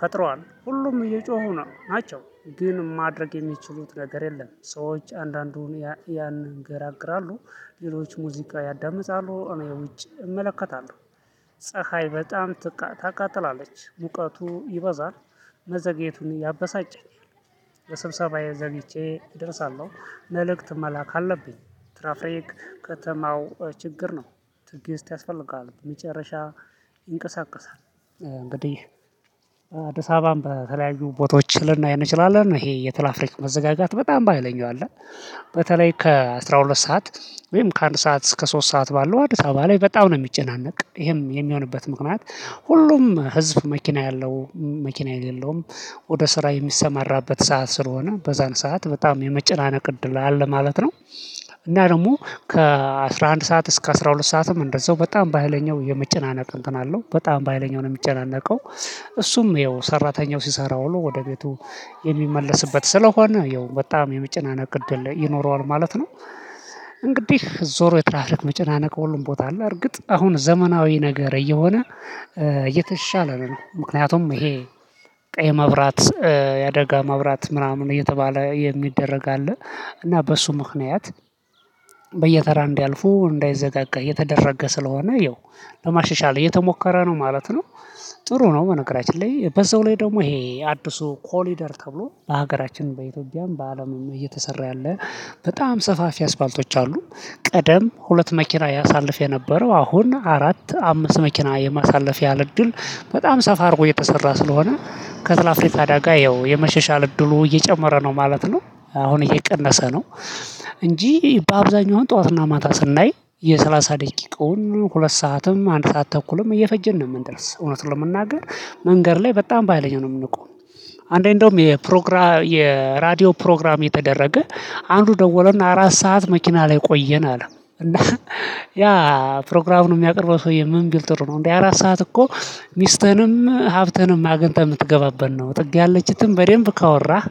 ፈጥሯል ሁሉም እየጮሁ ነው ናቸው ግን ማድረግ የሚችሉት ነገር የለም። ሰዎች አንዳንዱን ያንንገራግራሉ ሌሎች ሙዚቃ ያዳምጣሉ እኔ ውጪ እመለከታለሁ። ፀሀይ በጣም ታቃጥላለች ሙቀቱ ይበዛል። መዘግየቱን ያበሳጨኝ በስብሰባዬ ዘግይቼ እደርሳለሁ። መልእክት መላክ አለብኝ ትራፊክ ከተማው ችግር ነው። ትዕግስት ያስፈልጋል መጨረሻ ይንቀሳቀሳል። እንግዲህ አዲስ አበባም በተለያዩ ቦታዎች ልናይ አይነት እንችላለን ይሄ የትራፊክ መዘጋጋት በጣም በሃይለኛው አለ። በተለይ ከአሥራ ሁለት ሰዓት ወይም ከአንድ ሰዓት እስከ ሶስት ሰዓት ባለው አዲስ አበባ ላይ በጣም ነው ሚጨናነቅ ይሄም የሚሆንበት ምክንያት ሁሉም ህዝብ መኪና ያለው መኪና የሌለውም ወደ ስራ የሚሰማራበት ሰዓት ስለሆነ በዛን ሰዓት በጣም የመጨናነቅ እድል ላይ አለ ማለት ነው። እና ደግሞ ከአሥራ አንድ ሰዓት እስከ አስራ ሁለት ሰዓትም እንደዛው በጣም በሃይለኛው የመጨናነቅ እንትን አለው በጣም በሃይለኛው ነው የሚጨናነቀው። እሱም ያው ሰራተኛው ሲሰራ ወሎ ወደ ቤቱ የሚመለስበት ስለሆነ ያው በጣም የመጨናነቅ እድል ይኖረዋል ማለት ነው። እንግዲህ ዞሮ የትራፊክ መጨናነቅ ሁሉም ቦታ አለ እርግጥ አሁን ዘመናዊ ነገር እየሆነ የተሻለ ነው። ምክንያቱም ይሄ ቀይ መብራት የአደጋ መብራት ምናምን እየተባለ የሚደረግ አለ። እና በሱ ምክንያት በየተራ እንዲያልፉ እንዳይዘጋጋ እየተደረገ ስለሆነ ያው ለማሻሻል እየተሞከረ ነው ማለት ነው። ጥሩ ነው በነገራችን ላይ በዛው ላይ ደግሞ ይሄ አዲሱ ኮሪደር ተብሎ በሀገራችን በኢትዮጵያም በአለምም እየተሰራ ያለ በጣም ሰፋፊ አስፋልቶች አሉ። ቀደም ሁለት መኪና ያሳልፍ የነበረው አሁን አራት አምስት መኪና የማሳለፍ ያህል እድል በጣም ሰፋ አድርጎ የተሰራ ስለሆነ ከትራፊክ አዳጋ ያው የመሻሻል እድሉ እየጨመረ ነው ማለት ነው። አሁን እየቀነሰ ነው። እንጂ በአብዛኛው ጠዋትና ማታ ስናይ የሠላሳ ደቂቃውን ሁለት ሰዓትም አንድ ሰዓት ተኩልም እየፈጀን ነው የምንደርስ እውነት ለመናገር። መንገድ ላይ በጣም ባህይለኛ ነው የምንቆም። አንዳንዴ እንደውም የፕሮግራም የራዲዮ ፕሮግራም የተደረገ አንዱ ደወለና አራት ሰዓት መኪና ላይ ቆየን አለ እና ያ ፕሮግራሙን የሚያቀርበው ሰውዬ ምን ቢል ጥሩ ነው እንዴ አራት ሰዓት እኮ? ሚስትህንም ሀብትህንም አግኝተህ የምትገባበት ነው ጥግ ያለችትን በደንብ ካወራህ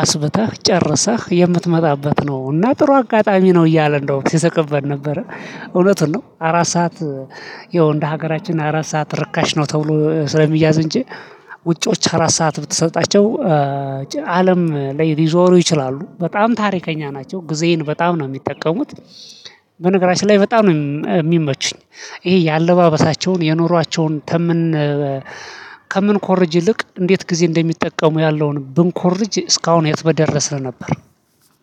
አስብተህ ጨርሰህ የምትመጣበት ነው እና ጥሩ አጋጣሚ ነው እያለ እንደውም ሲሰቅብት ነበረ እውነት ነው አራት ሰዓት። ይኸው እንደ ሀገራችን አራት ሰዓት ርካሽ ነው ተብሎ ስለሚያዝ እንጂ። ውጪዎች አራት ሰዓት ብትሰጣቸው አለም ላይ ሊዞሩ ይችላሉ በጣም ታሪከኛ ናቸው ጊዜዬን በጣም ነው የሚጠቀሙት። በነገራችን ላይ በጣም ነው የሚመቹኝ። ይሄ የአለባበሳቸውን የኑሯቸውን ተመን ከምንኮርጅ ይልቅ እንዴት ጊዜ እንደሚጠቀሙ ያለውን ብንኮርጅ እስካሁን የት በደረስን ነበር።